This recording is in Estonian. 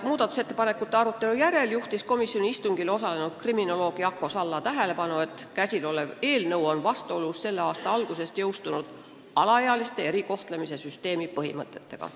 Muudatusettepanekute arutelu järel juhtis komisjoni istungil osalenud kriminoloog Jako Salla tähelepanu, et kõnealune eelnõu on vastuolus selle aasta alguses jõustunud alaealiste erikohtlemise süsteemi põhimõtetega.